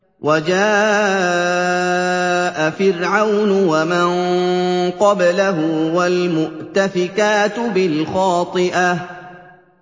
وَجَاءَ فِرْعَوْنُ وَمَن قَبْلَهُ وَالْمُؤْتَفِكَاتُ بِالْخَاطِئَةِ